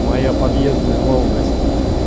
моя подъездная молодость